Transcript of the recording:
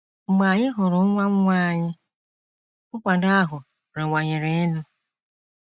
Mgbe anyị hụrụ nwa nwa anyị, nkwado ahụ rịwanyere elu.